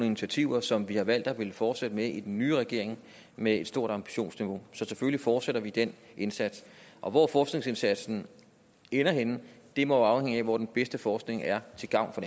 initiativer som vi har valgt at ville fortsætte med i den nye regering med et stort ambitionsniveau så selvfølgelig fortsætter vi den indsats og hvor forskningsindsatsen ender henne må afhænge af hvor den bedste forskning er til gavn for